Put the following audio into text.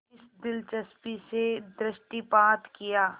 इस दिलचस्पी से दृष्टिपात किया